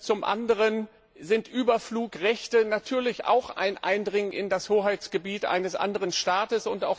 Zum anderen bedeuten Überflugrechte natürlich auch ein Eindringen in das Hoheitsgebiet eines anderen Staates.